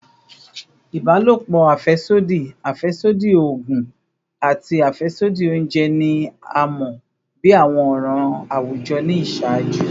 Ibalopo afẹsodi, afẹsodi oogun, ati afẹsodi ounjẹ ni a mọ bi awọn ọran awujọ ni iṣaaju